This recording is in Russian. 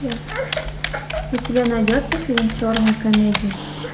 у тебя найдется фильм черная комедия